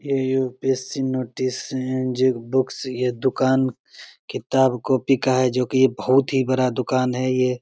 ये UPSC. Notice books ये दुकान किताब कॉपी का है जो की ये बहुत ही बड़ा दुकान है। ये --